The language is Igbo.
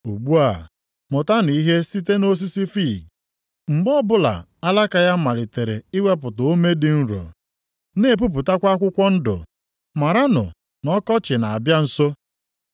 “Ugbu a mụtanụ ihe site nʼosisi fiig. Mgbe ọbụla alaka ya malitere iwepụta ome dị nro, na-epupụtakwa akwụkwọ ndụ maranụ na ọkọchị na-abịa nso.